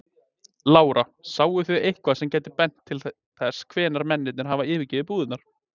Lára: Sáu þið eitthvað sem gæti bent til þess hvenær mennirnir hafa yfirgefið búðirnar?